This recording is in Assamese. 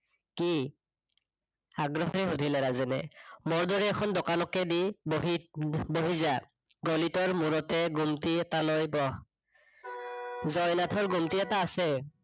কি? আগ্ৰহেৰে শুধিলে ৰাজেনে, মোৰ দৰে এখন দোকানকে দি বহি, বহি যা। গলিটোৰ মোৰতে গুমটি এটা লৈ বহ জয়নাথৰ গুমটি এটা আছে